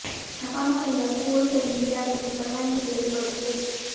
છાપામાં કઇ લખવું હોય તો ઇન્દિરાબેનની પરવાનગી લેવી પડતી હતી